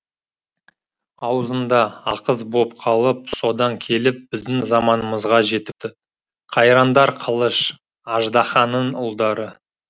аузында ақыз боп қалып содан келіп біздің заманымызға жетіпті қайраңдар қылыш аждаһаның ұлдары